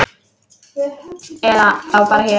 Eða þá bara hér.